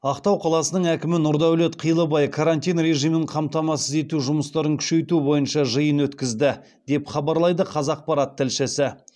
ақтау қаласының әкімі нұрдәулет қилыбай карантин режимін қамтамасыз ету жұмыстарын күшейту бойынша жиын өткізді деп хабарлайды қазақпарат тілшісі